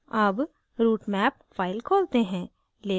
अब route map file खोलते हैं